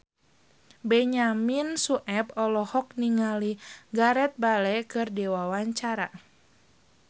Benyamin Sueb olohok ningali Gareth Bale keur diwawancara